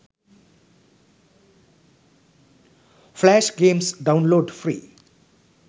flash games download free